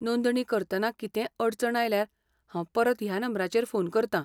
नोंदणी करतना कितेंय अडचण आयल्यार हांव परत ह्या नंबराचेर फोन करतां.